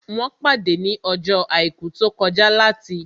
Wọ́n pàdé ní ọjọ́ àìkú tó kọjá láti